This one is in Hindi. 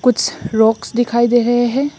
रॉक्स दिखाई दे रहे हैं।